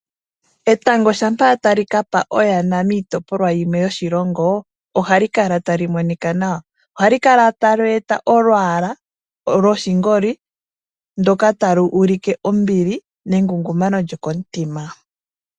Etango shampa tali kapa oyana miitopolwa yimwe yoshilongo ohali kala tali monika nawa ohali kala tali eta olwaala loshingoli ndoka tali ulike ombili nengungumano lyokomutima.